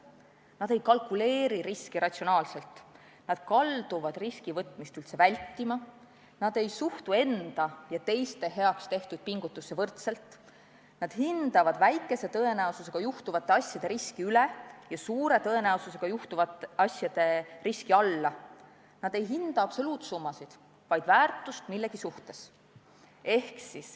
Nad ei kalkuleeri riski ratsionaalselt, nad kalduvad riskide võtmist üldse vältima, nad ei suhtu enda ja teiste heaks tehtud pingutusse võrdselt, nad hindavad väikese tõenäosusega juhtuvate asjade riski üle ja suure tõenäosusega juhtuvate asjade riski alla, nad ei hinda absoluutsummasid, vaid väärtust millegi suhtes.